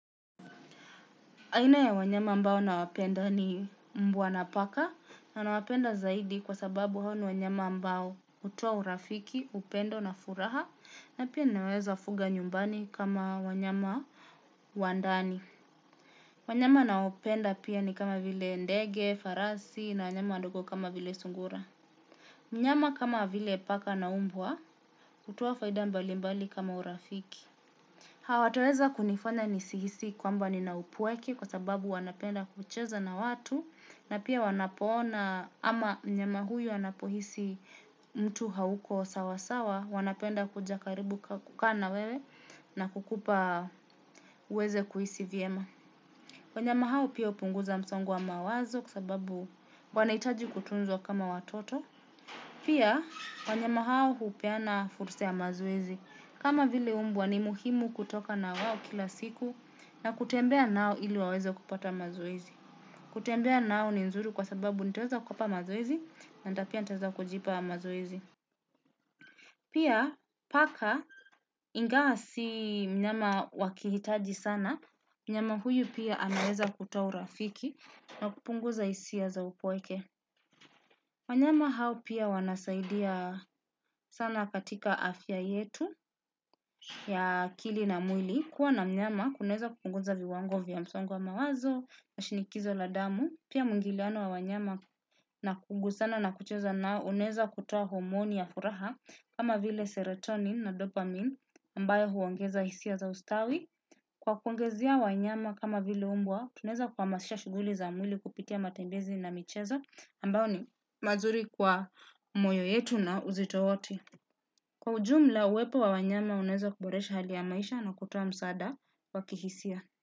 Aina ya wanyama ambao nawapenda ni mbwa na paka na nawapenda zaidi kwa sababu hao ni wanyama ambao hutoa urafiki, upendo na furaha na pia naweza fuga nyumbani kama wanyama wa ndani. Wanyama nao penda pia ni kama vile ndege, farasi na wanyama wandogo kama vile sungura. Mnyama kama vile paka na umbwa hutoa faida mbali mbali kama urafiki. Hawatoweza kunifanya nisi hisi kwamba nina upweke kwa sababu wanapenda kucheza na watu na pia wanapoona ama mnyama huyu anapohisi mtu hauko sawasawa wanapenda kuja karibu kukaa na wewe na kukupa uweze kuhisi vyema. Wanyama hawa pia upunguza msongo wa mawazo kwa sababu wanaitaji kutunzwa kama watoto. Pia, wanyama hao hupeana furusa ya mazoezi. Kama vile umbwa ni muhimu kutoka na wao kila siku na kutembea nao ili waweza kupata mazoezi. Kutembea nao ni nzuri kwa sababu nitaweza kuwapa mazoezi na pia nitaweza kujipa mazoezi. Pia paka inga si mnyama wa kihitaji sana, mnyama huyu pia amaweza kutoa urafiki na kupunguza isia za upweke. Wanyama hao pia wanasaidia sana katika afya yetu ya akili na mwili. Kuwa na mnyama kunaeza kupunguza viwango vya msongo wa mawazo na shinikizo la damu. Pia muingiliano wa wanyama na kugusana na kucheza nao uneza kutoa hormoni ya furaha kama vile serotonin na dopamine ambayo huongeza hisia za ustawi. Kwa kuongezea wanyama kama vile umbwa, tuneza kuhamasisha shuguli za mwili kupitia matembezi na michezo ambao ni mazuri kwa moyo yetu na uzito wote. Kwa ujumla, uwepo wa wanyama unaeza kuboresha hali ya maisha na kutoa msaada wa kihisia.